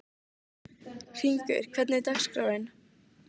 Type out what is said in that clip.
Hringur, hvernig er dagskráin?